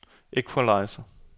equalizer